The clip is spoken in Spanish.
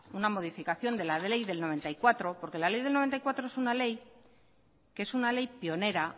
una modificación de la ley de mil novecientos noventa y cuatro porque la ley de mil novecientos noventa y cuatro es una ley que es una ley pionera